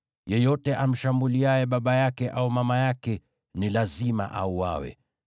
“Yeyote amshambuliaye baba yake au mama yake ni lazima auawe.